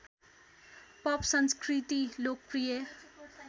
pop संस्कृति लोकप्रिय